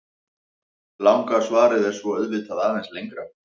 Langa svarið er svo auðvitað aðeins lengra.